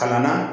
Kalan na